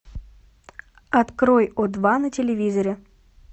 открой о два на телевизоре